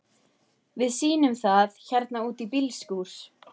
Við sýnum það hérna úti í bílskúr.